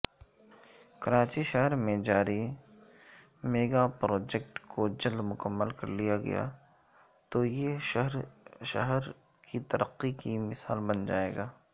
کراچی شہرمیں جاری میگاپراجیکٹ کوجلدمکمل کرلیاگیاتویہ شہرترقی کی مثال بن جائے گا